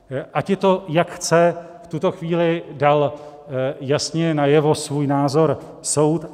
Ať je to jak chce, v tuto chvíli dal jasně najevo svůj názor soud.